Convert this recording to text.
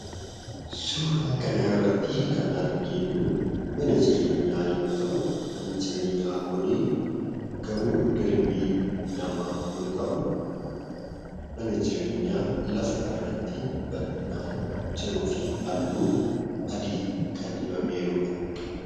Suuraa kanarratti kan arginu mana jireenyaa yoo ta'u, manni jireenyaa kun gamoo darbii lamaa yoo ta'u, mana jireenyaa lafarratti bal'inaan jiruu fi halluu adii kan dibamee jirudha.